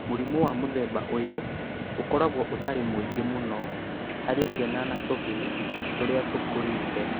Mũrimũ wa mũthemba ũyũ ũkoragwo ũtarĩ mũingĩ mũno harĩ ciana na tũhĩĩ tũrĩa tũkũrĩte.